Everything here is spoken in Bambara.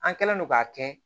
An kɛlen don k'a kɛ